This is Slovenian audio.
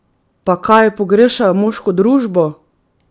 Pa kaj pogrešajo moško družbo?